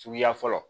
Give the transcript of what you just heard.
Suguya fɔlɔ